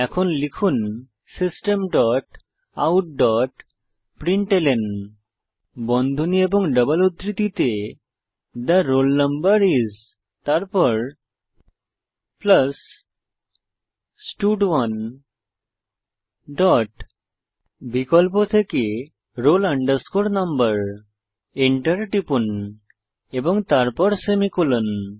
এখন লিখুন system dot out dot println বন্ধনী এবং ডবল উদ্ধৃতিতে থে রোল নাম্বার আইএস তারপর স্টাড1 ডট বিকল্প থেকে roll no এন্টার টিপুন এবং তারপর সেমিকোলন